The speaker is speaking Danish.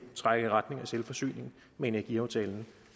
trækker i retning af selvforsyning med energiaftalen